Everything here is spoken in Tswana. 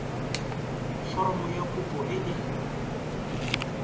foromo ya kopo e e